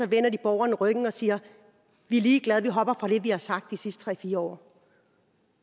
vender de borgerne ryggen og siger vi er ligeglade vi hopper fra det vi har sagt de sidste tre fire år